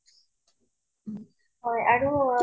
হয় আৰু